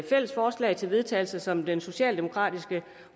fælles forslag til vedtagelse som den socialdemokratiske